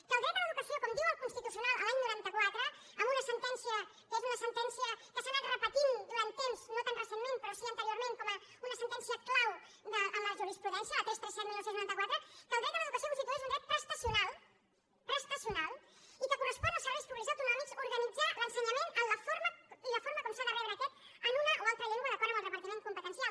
que el dret a l’educació com diu el constitucio nal l’any noranta quatre amb una sentencia que és una sentencia que s’ha anat repetint durant temps no tan recentment però sí anteriorment com una sentència clau en la jurisprudència la tres cents i trenta set dinou noranta quatre que el dret a l’educació constitueix un dret prestacional prestacional i que correspon als serveis públics autonòmics organitzar l’ensenyament i la forma com s’ha de rebre aquest en una o altra llengua d’acord amb el repartiment competencial